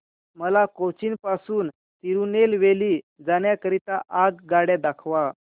मला कोचीन पासून तिरूनेलवेली जाण्या करीता आगगाड्या दाखवा